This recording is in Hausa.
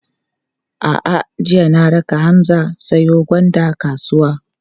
A'a, jiya na raka Hamza ya siyo gwanda kasuwa.